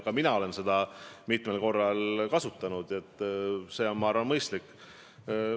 Ka mina olen seda mitmel korral kasutanud, see on mõistlik.